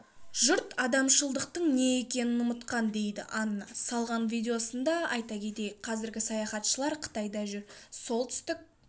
жұрт адамшылықтың не екенін ұмытқан дейді анна салған видеосында айта кетейік қазір саяхатшылар қытайда жүр солтүстік